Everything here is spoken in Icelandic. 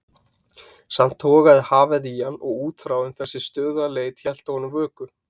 Samt togaði hafið í hann og útþráin, þessi stöðuga leit, hélt fyrir honum vöku.